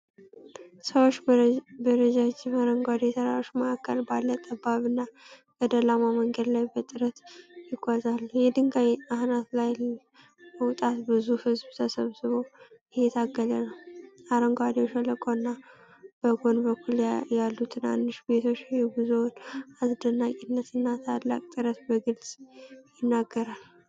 ሰዎች በረጃጅም አረንጓዴ ተራሮች መካከል ባለ ጠባብና ገደላማ መንገድ ላይ በጥረት ይጓዛሉ። የድንጋይ አናት ላይ ለመውጣት ብዙ ሕዝብ ተሰብስቦ እየታገለ ነው። አረንጓዴው ሸለቆ እና በጎን በኩል ያሉ ትናንሽ ቤቶች የጉዞውን አስደናቂነትና ታላቅ ጥረት በግልጽ ይናገራል።